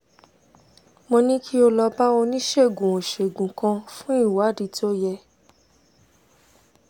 mo ní kí o lọ bá oníṣègùn-ò-ṣègùn kan fún ìwádìí tó yẹ